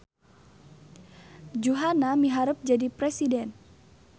Juhana miharep jadi presiden